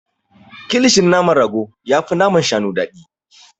Kilishin naman rago yafi naman shanu daɗi.